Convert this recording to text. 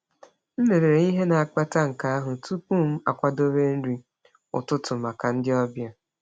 M lelere ihe na-akpata nke anụ tupu m akwadebe nri ụtụtụ maka ndị ọbịa.